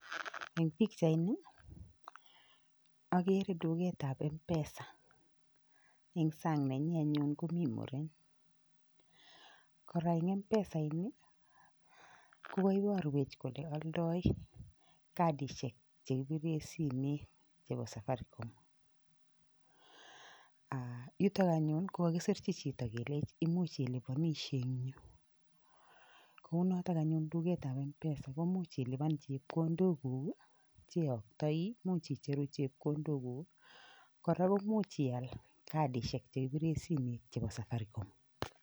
Eng pichaini agere duketab mpesa, eng san'g nenyi anyun komi muren. Kora eng mpesaini kokaiparwech kole oldoi kadishek chekipire simet chebo safaricom. Yutok anyun kokakiserchi chito kelech imuch ilipanishe eng yu. Kounotok anyun duketab mpesa komuch ilipan chepkondokuk, cheyoktoi, imuch icheru chepkondokuk kora komuch ial kadishek chekipire simet chebo safaricom.